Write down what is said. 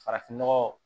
Farafinnɔgɔ